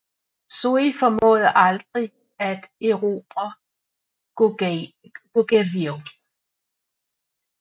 Sui formåede aldrig at erobre Gogueryo